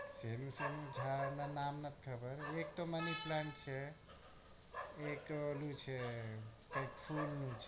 ભાઈ નામ મને નથ ખબર એક money plant છે એક ઓલું છે કઈક ફૂલ નું